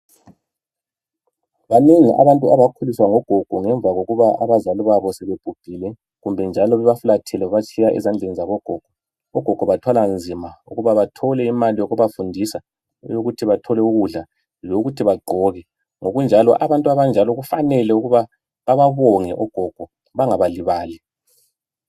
Babengi abantu abakhuliswa ngogogo ngemva kokuba abazali sebebhubhile kumbe njalo bebafulathele babatshiya ezandleni zabo gogo ogogo bathwala nzima ukuba bathole imali yokubafundisa yokuthi bathole ukudla lokut bagqoke ngokunjalo abantu abanjalo kufanele bebabonge ogogo bengabalibali